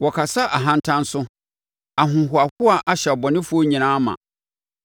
Wɔkasa ahantan so; ahohoahoa ahyɛ abɔnefoɔ nyinaa ma.